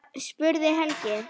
spurði Helgi.